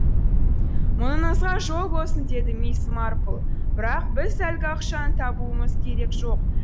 мұныңызға жол болсын деді мисс марпл бірақ біз әлгі ақшаны табуымыз керек жоқ